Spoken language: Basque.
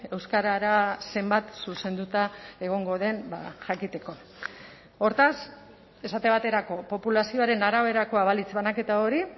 euskarara zenbat zuzenduta egongo den jakiteko hortaz esate baterako populazioaren araberakoa balitz banaketa hori